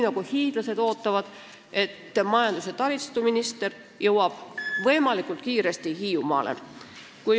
Hiidlased aga ootavad, et majandus- ja taristuminister jõuab võimalikult kiiresti Hiiumaale.